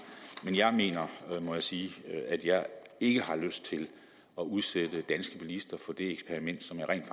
men jeg mener må jeg sige at jeg ikke har lyst til at udsætte danske bilister for det eksperiment som jeg rent